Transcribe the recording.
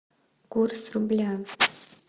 курс рубля